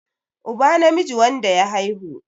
uba namiji wanda ya haihu